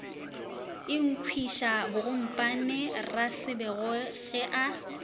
ikhwiša bogompane rasebešo ge a